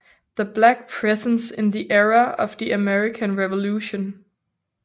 The Black Presence in the Era of the American Revolution